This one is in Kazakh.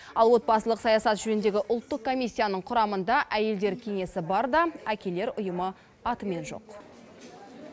ал отбасылық саясат жөніндегі ұлттық комиссияның құрамында әйелдер кеңесі бар да әкелер ұйымы атымен жоқ